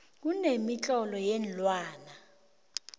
kumemitlolo yeenlwane